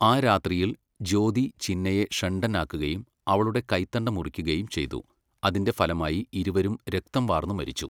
ആ രാത്രിയിൽ, ജ്യോതി ചിന്നയെ ഷണ്ഡനാക്കുകയും അവളുടെ കൈത്തണ്ട മുറിക്കുകയും ചെയ്തു, അതിന്റെ ഫലമായി ഇരുവരും രക്തം വാർന്നു മരിച്ചു.